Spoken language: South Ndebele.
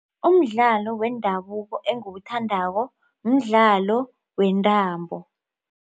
Umdlalo wendabuko engiwuthandako mdlalo wentambo.